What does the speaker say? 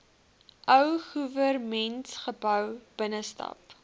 ou goewermentsgebou binnestap